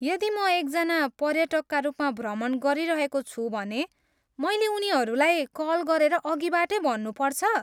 यदि म एकजना पर्यटकका रूपमा भ्रमण गरिरहेको छु भने मैले उनीहरूलाई कल गरेर अघिबाटै भन्नुपर्छ?